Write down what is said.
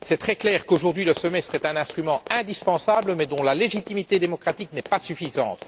C'est très clair qu'aujourd'hui le semestre est un instrument indispensable, mais dont la légitimité démocratique n'est pas suffisante.